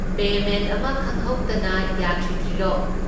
Payment ꯑꯃ ꯈꯪꯍꯧꯗꯅ ꯌꯥꯈꯤꯗ꯭ꯔꯤꯔꯣ?